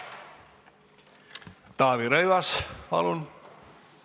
Taavi Rõivas, palun!